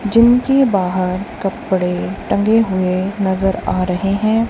Gym के बाहर कपड़े टंके हुए नज़र आ रहे हैं।